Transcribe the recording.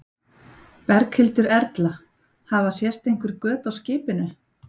Berghildur Erla: Hafa sést einhver göt á skipinu?